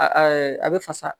A ɛɛ a be fasa